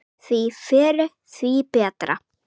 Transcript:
Því fyrr, því betra.